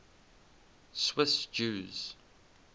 swiss jews